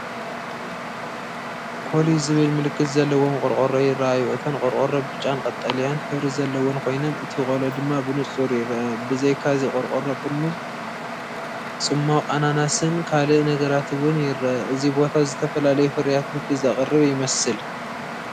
KOLLY ዝብል ምልክት ዘለዎም ቆርቆሮ ይራኣዩ፣ እተን ቆርቆሮ ብጫን ቀጠልያን ሕብሪ ዘለወን ኮይነን፡ እቲ ቆሎ ድማ ብንጹር ይርአ። ብዘይካ’ዚ ቆርቆሮ፡ ጥርሙዝ ጽማቝ ኣናናስን ካልእ ነገራትን’ውን ይርአ። እቲ ቦታ ዝተፈላለዩ ፍርያት ምግቢ ዘቕርብ ይመስል።